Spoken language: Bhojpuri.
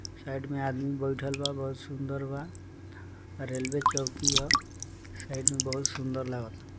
साइड में आदमी बैठल बा बहोत सुंदर बा रेलवे चौकी होअ साइड मे बहोत सुंदर लागाता।